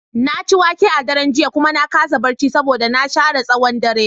Na ci wake a daren jiya kuma na kasa barci saboda na share tsawon dare.